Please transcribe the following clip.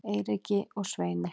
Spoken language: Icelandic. Eiríki og Sveini